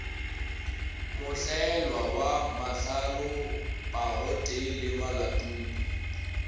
mohlwaela wa mahlalopagotee le malatodi